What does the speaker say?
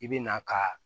I bɛ na ka